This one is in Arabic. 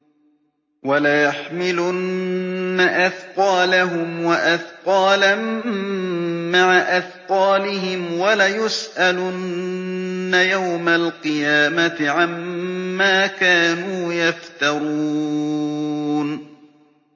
وَلَيَحْمِلُنَّ أَثْقَالَهُمْ وَأَثْقَالًا مَّعَ أَثْقَالِهِمْ ۖ وَلَيُسْأَلُنَّ يَوْمَ الْقِيَامَةِ عَمَّا كَانُوا يَفْتَرُونَ